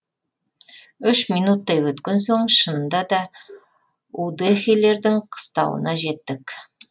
үш минуттай өткен соң шынында да удэхелердің қыстауына жеттік